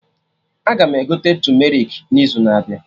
Aga m egote tumerik n'izu na abịa